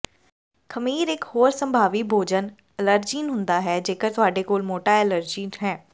ਖਮੀਰ ਇਕ ਹੋਰ ਸੰਭਾਵੀ ਭੋਜਨ ਅਲਰਜੀਨ ਹੁੰਦਾ ਹੈ ਜੇਕਰ ਤੁਹਾਡੇ ਕੋਲ ਮੋਟਾ ਐਲਰਜੀ ਹੈ